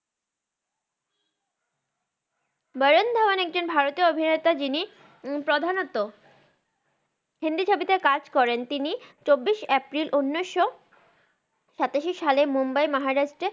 ভারুন ধাওান একজন ভারতিও অভিনেতা জিনি প্রাধানত হিন্দি ছবিতে কাজ করেন তিনি চব্বিস এপ্রিল উনিস সাতাসি সালে মুম্বাই মাহারাস্ত্রের